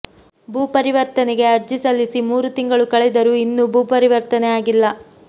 ಭೂಪರಿವರ್ತನೆಗೆ ಅರ್ಜಿ ಸಲ್ಲಿಸಿ ಮೂರು ತಿಂಗಳು ಕಳೆದರೂ ಇನ್ನೂ ಭೂಪರಿವರ್ತನೆ ಆಗಿಲ್ಲ